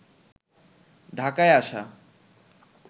ঢাকায় আসা